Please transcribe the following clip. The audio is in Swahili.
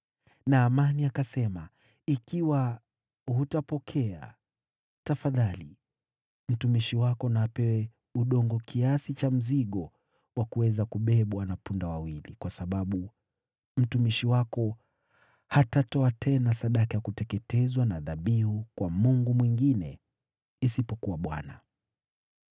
Naamani akasema, “Ikiwa hutapokea, tafadhali mtumishi wako na apewe udongo kiasi cha mzigo wa kuweza kubebwa na punda wawili, kwa sababu mtumishi wako hatatoa tena sadaka ya kuteketezwa na dhabihu kwa mungu mwingine isipokuwa Bwana .